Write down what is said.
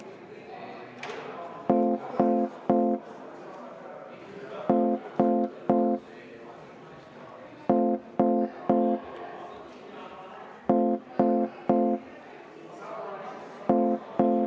Teeme kümneminutilise vaheaja, palun!